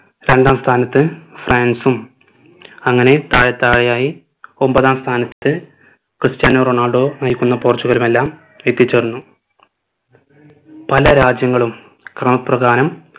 രണ്ടാം സ്ഥാനത്ത് ഫ്രാൻസും അങ്ങനെ താഴെ താഴെ ആയി ഒമ്പതാം സ്ഥാനത്ത് ക്രിസ്ത്യാനോ റൊണാൾഡോ നയിക്കുന്ന പോർച്ചുഗലും എല്ലാം എത്തിച്ചേർന്നു പല രാജ്യങ്ങളും ക്രമ പ്രകാരം